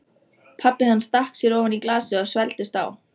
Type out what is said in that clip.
Mér skilst á vegfarendum hér að ég sé afskaplega girnileg.